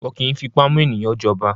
Wọn kì í fipá mú ènìyàn jọba.